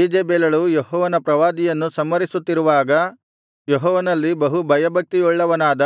ಈಜೆಬೆಲಳು ಯೆಹೋವನ ಪ್ರವಾದಿಗಳನ್ನು ಸಂಹರಿಸುತ್ತಿರುವಾಗ ಯೆಹೋವನಲ್ಲಿ ಬಹು ಭಯಭಕ್ತಿಯುಳ್ಳವನಾದ